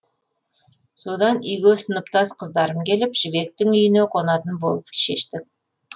содан үйге сыныптас қыздарым келіп жібектің үйіне қонатын болып шештік